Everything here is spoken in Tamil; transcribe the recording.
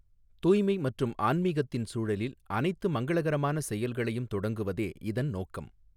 தூய்மை மற்றும் ஆன்மீகத்தின் சூழலில் அனைத்து மங்களகரமான செயல்களையும் தொடங்குவதே இதன் நோக்கம்.